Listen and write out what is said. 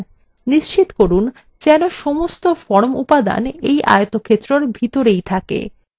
নিশ্চিত করুন যেন সমস্ত form উপাদান এই আয়তক্ষেত্রএর ভিতরেই থাকে